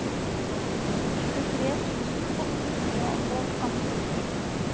tjuetre tusen åtte hundre og atten